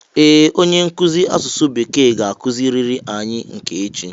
Ee! Onye nkụzi asụsụ bekee ga-akụziri anyi nke echi